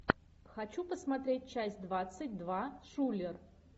хочу посмотреть часть двадцать два шулер